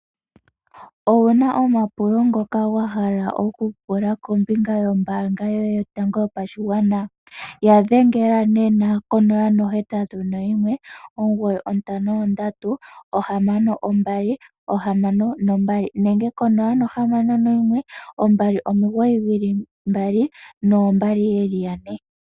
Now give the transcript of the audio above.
Owuna omapulo ngoka wahala okupula kombinga yombaanga yotango yopashigwana? Yadhengela nena konomola: 081 953 6262 nenge 061 299 2222.